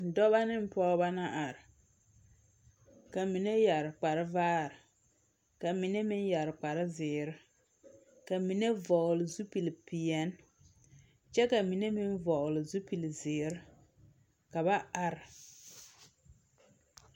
Dͻbͻ neŋ pͻgebͻ la are, ka mine yԑre kpare vaare ka mine meŋ yԑre kpare zeere. Ka mine vͻgele zupili peԑle, kyԑ ka mine meŋ vͻgele zupili zeere. Ka ba are.